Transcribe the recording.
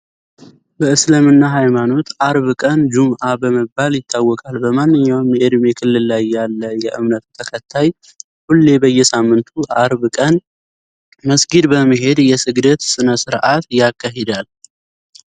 በእስልምና ሃይማኖት አርብ ቀን ጁምአ በመባል ይታወቃል። በማንኛውም የእድሜ ክልል ላይ ያለ የእምነቱ ተከታይ ሁሌ በየሳምንቱ አርብ ቀን መስጊድ በመሄድ የስግደት ስነ ስረአት ያካሂዳል።